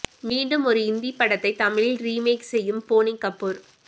மீண்டும் ஒரு இந்தி படத்தை தமிழில் ரீமேக் செய்யும் போனி கபூர்